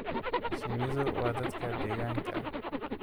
Shinnidu waa dad deegaanka ah.